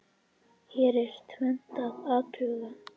Hér er tvennt að athuga.